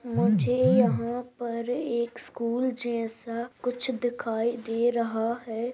मुझे यहाँ पर एक स्कूल जैसा कुछ दिखाई दे रहा है।